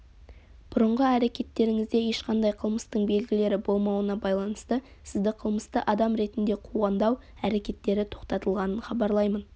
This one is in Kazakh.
бұрынғы әрекеттеріңізде ешқандай қылмыстың белгілері болмауына байланысты сізді қылмысты адам ретінде қуғындау әрекеттері тоқтатылғанын хабарлаймын